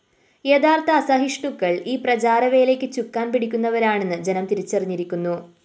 യഥാര്‍ത്ഥ അസഹിഷ്ണുക്കള്‍ ഈ പ്രചാരവേലയ്ക്ക് ചുക്കാന്‍ പിടിക്കുന്നവരാണെന്ന് ജനം തിരിച്ചറിഞ്ഞിരിക്കുന്നു